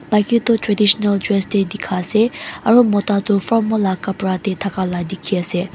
maiki tu traditional dress te dikha ase aru mota tu formal la kapara te thaka la dikhi ase.